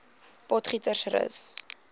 potgietersrus